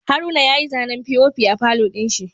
Haruna yayi zanen Pop a palour dinshi